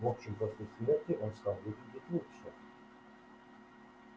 в общем после смерти он стал выглядеть лучше